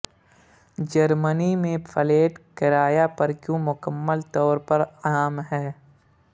جرمنی میں فلیٹ کرایہ پر کیوں مکمل طور پر عام ہے